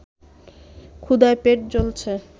ক্ষুধায় পেট জ্বলছে